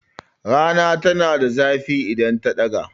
Rana tana zafi idan ta take.